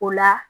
O la